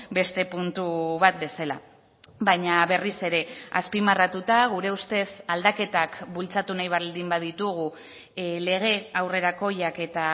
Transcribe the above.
beste puntu bat bezala baina berriz ere azpimarratuta gure ustez aldaketak bultzatu nahi baldin baditugu lege aurrerakoiak eta